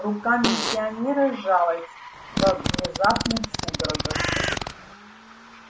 рука миссионера сжалась во внезапных судорогах